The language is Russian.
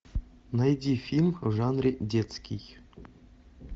найди фильм в жанре детский